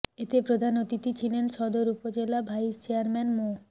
এতে প্রধান অতিথি ছিলেন সদর উপজেলা ভাইস চেয়ারম্যান মো